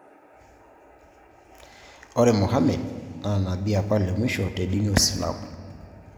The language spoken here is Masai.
Ore Muhammed naa nabii apa le muisho tedini oosilamu